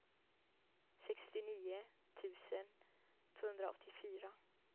sextionio tusen tvåhundraåttiofyra